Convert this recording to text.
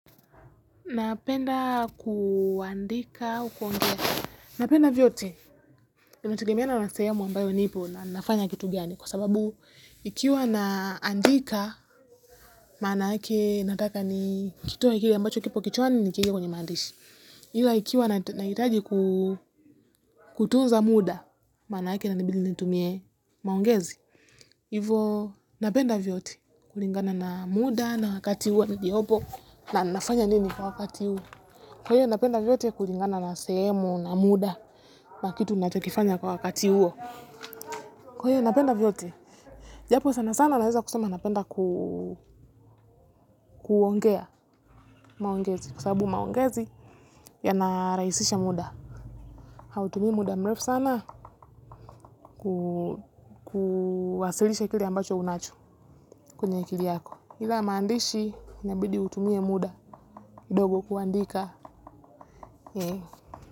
Napenda kuandika au kuongea. Napenda vyote. Itegemeana na sehemu ambayo nipo na nafanya kitu gani. Kwa sababu ikiwa na andika maanake nataka nikitoe kile ambacho kioo kichwani nikiweke kwenye maandishi ila ikiwa nahitaji kutunza muda, maanake inanibidi nitumie maongezi. Hivo napenda vyote. Kulingana na muda na wakati niliopo na nafanya nini kwa wakati huu. Kwa hiyo, napenda vyote kukingana na sehemu na muda na kitu nachokifanya kwa wakati huo. Kwa hiyo, napenda vyote. Japo sana sana naweza kusema napenda kuongea, maongezi. Kwa sababu maongezi yanarahisisha muda. Hautumi muda mrefu sana kuwasilisha kile ambacho unacho kwenye akili yako. Ila maandishi inabidi utumie muda kidogo kuandika.